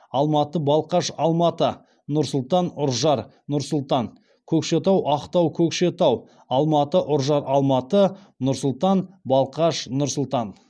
алматы балқаш алматы нұр сұлтан ұржар нұр сұлтан көкшетау ақтау көкшетау алматы ұржар алматы нұр сұлтан балқаш нұр сұлтан